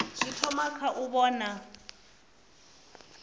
zwi thoma kha u vhona